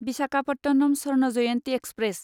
Visakhapatnam Swarna Jayanti express